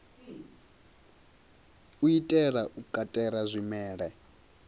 u itela u katela zwimela